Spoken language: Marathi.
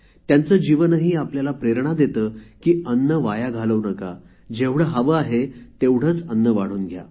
त्यांच जीवनही आपल्याला प्रेरणा देते की अन्न वाया घालवू नका जेवढे हवे आहे तेवढेच अन्न वाढून घ्या